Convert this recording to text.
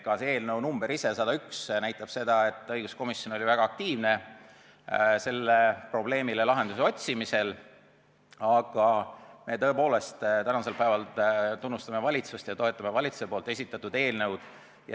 Ka eelnõu number – 101 – näitab, et õiguskomisjon oli väga aktiivne sellele probleemile lahenduse otsimisel, aga me tõepoolest tänasel päeval tunnustame valitsust ja toetame valitsuse esitatud eelnõu.